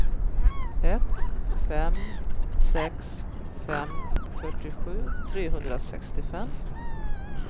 ett fem sex fem fyrtiosju trehundrasextiofem